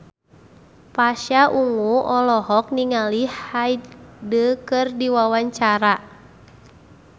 Pasha Ungu olohok ningali Hyde keur diwawancara